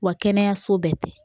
Wa kɛnɛyaso bɛɛ tɛ